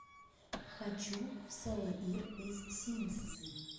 хочу в салаир из синьцзи